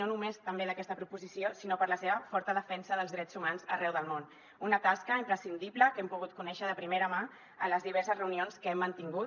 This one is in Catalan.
no només també d’aquesta proposició sinó per la seva forta defensa dels drets humans arreu del món una tasca imprescindible que hem pogut conèixer de primera mà a les diverses reunions que hem mantingut